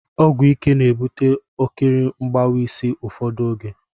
Ogwụ ike na-ebụte ọkiri mgbawa isi ụfọdụ ọge